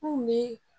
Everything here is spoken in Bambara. N kun be